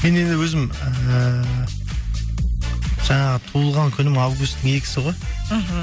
мен енді өзім ііі жаңағы туылған күнім августтің екісі ғой мхм